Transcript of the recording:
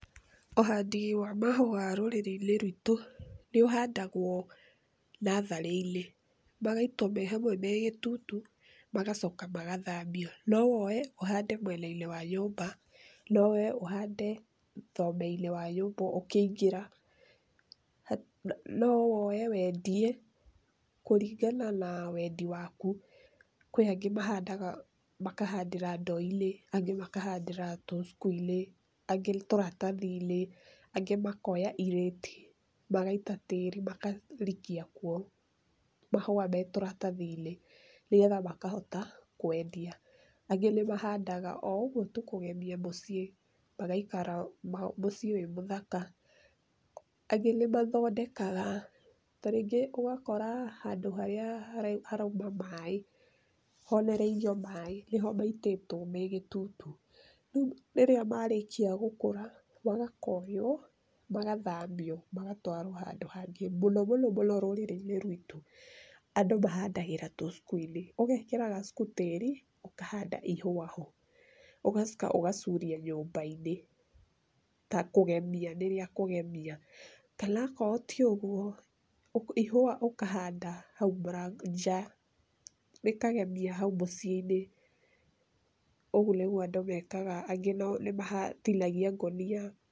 Ũhandi wa mahũa rũrĩrĩ-inĩ rwitũ nĩũhandagwo nathaharĩ-inĩ, magaitwo me hamwe me gĩtutu magacoka magathambio. No woye uhande mwena- inĩ wa nyũmba, no woye ũhande thomei-inĩ wa nyũmba ũkĩingĩra, no woye wendie kũringana na wendi waku, kwĩ angĩ mahandaga makahandĩra ndoo-inĩ, angĩ makahandĩra Tũthuku-inĩ, angi tũratathi-inĩ, angi makoya irĩti magaita tĩĩri makarikia kuo mahũa marĩ turatathi-inĩ nĩgetha makahota kwendia. Angĩ nĩ mahandaga o ũguo kũgemia mũciĩ magaikara mũciĩ wĩ mũthaka. Angĩ nĩmathondekaga ta rĩngĩ ũgakora handũ harĩa harauma maĩ honereirio maĩ, nĩho maitĩtwo me gitutu. Rĩu rĩrĩa marĩkia gũkũra magakonywo magathamio magatwarwo handũ hangĩ. Mũno mũno rũrĩriĩ-inĩ rwitũ andũ mahandagĩra Tũthuku-inĩ, ũgekĩra Gathuku tĩri ũkahanda ihũa ho, ũgacoka ũgacuria nyũmba-inĩ ta kũgemia, nĩ rĩa kũgemia kana akorwo ti ũguo ihũa ũkahanda hau nja rĩkagemia hau mũciĩ-inĩ. Ũguo nĩguo andũ mekaga angĩ nĩmatinagia ngũnia.